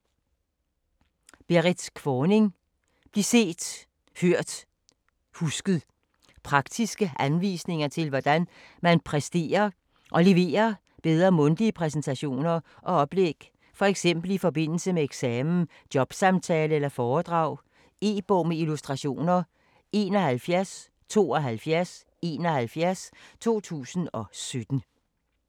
Kvorning, Berrit: Bliv set, hørt, husket Praktiske anvisninger til hvordan man præsterer og leverer bedre mundtlige præsentationer og oplæg, f.eks. i forbindelse med eksamen, jobsamtale eller foredrag. E-bog med illustrationer 717271 2017.